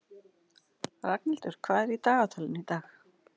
Ragnhildur, hvað er í dagatalinu í dag?